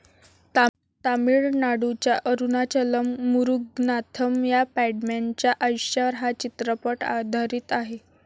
तामिळनाडूच्या अरुणाचलम मुरुगनाथम या 'पॅडमॅन'च्या आयुष्यावर हा चित्रपट आधारित आहे.